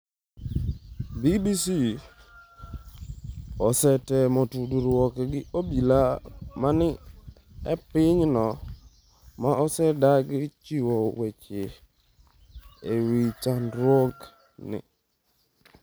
BBC osetemo tudruok gi obila ma ni e pinyno ma osedagi chiwo weche ewi chandruok ni.